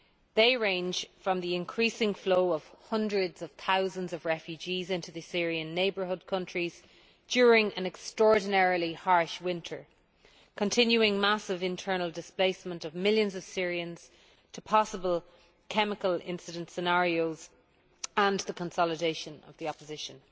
They range from the increasing flow of hundreds of thousands of refugees into the Syrian neighbourhood countries during an extraordinarily harsh winter and continuing massive internal displacement of millions of Syrians to possible chemical incident scenarios and the consolidation of the opposition.